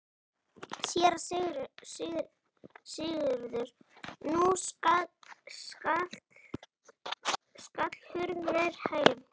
SÉRA SIGURÐUR: Nú skall hurð nærri hælum.